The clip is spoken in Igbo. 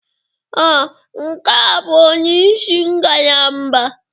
Ee, nke a bụ onye isi ngalaba.